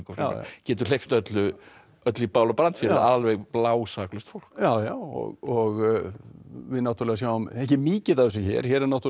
getur hleypt öllu öllu í bál og brand fyrir alveg blásaklaust fólk já já og við náttúrulega sjáum ekki mikið af þessu hér hér er náttúrulega